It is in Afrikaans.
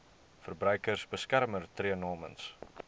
verbruikersbeskermer tree namens